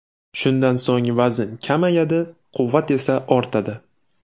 Shundan so‘ng vazn kamayadi, quvvat esa ortadi”.